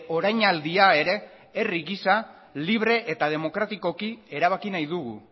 orainaldia ere herri gisa libre eta demokratikoki erabaki nahi dugu